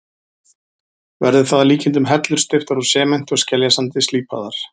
Verður það að líkindum hellur steyptar úr sementi og skeljasandi, slípaðar.